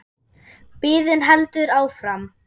Biðin heldur áfram.